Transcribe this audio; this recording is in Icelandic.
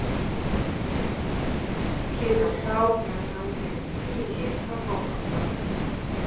Síðan þá hefur hann verið í fríi frá fótbolta.